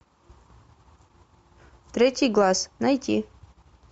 третий глаз найти